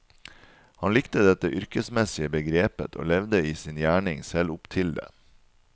Han likte dette yrkesmessige begrepet, og levde i sin gjerning selv opp til det.